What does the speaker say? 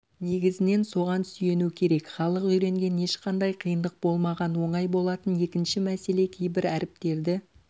негізінен соған сүйену керек халық үйренген ешқандай қиындық болмаған оңай болатын екінші мәселе кейбір әріптерді